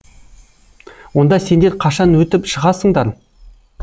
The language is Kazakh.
онда сендер қашан өтіп шығасыңдар